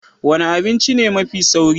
Wena abinci ne mai sauri.